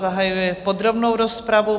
Zahajuji podrobnou rozpravu.